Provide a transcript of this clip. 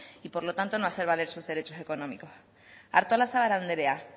y por lo tanto no hacer valer sus derechos económicos artolazabal andrea